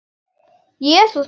Jesús minn!